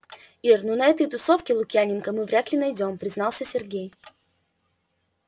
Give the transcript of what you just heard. ир ну на этой тусовке лукьяненко мы вряд ли найдём признался сергей